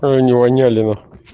она воняли нахуй